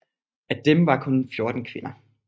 Af dem var kun 14 kvinder